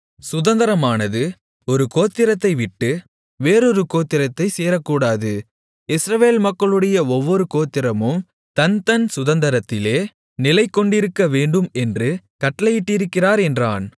சுதந்தரமானது ஒரு கோத்திரத்தை விட்டு வேறொரு கோத்திரத்தைச் சேரக்கூடாது இஸ்ரவேல் மக்களுடைய ஒவ்வொரு கோத்திரமும் தன்தன் சுதந்தரத்திலே நிலைகொண்டிருக்கவேண்டும் என்று கட்டளையிட்டிருக்கிறார் என்றான்